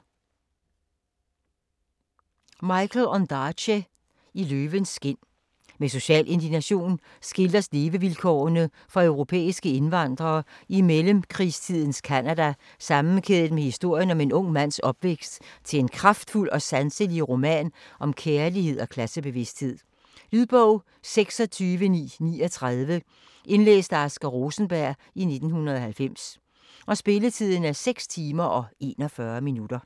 Ondaatje, Michael: I løvens skind Med social indignation skildres levevilkårene for europæiske indvandrere i mellemkrigstidens Canada sammenkædet med historien om en ung mands opvækst til en kraftfuld og sanselig roman om kærlighed og klassebevidsthed. Lydbog 26939 Indlæst af Asger Rosenberg, 1990. Spilletid: 6 timer, 41 minutter.